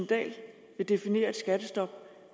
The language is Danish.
dahl vil definere et skattestop